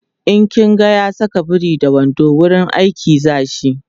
in kin ga ya Saka biri da wando wurin aiki zashi